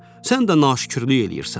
Sən də naşükürlük eləyirsən.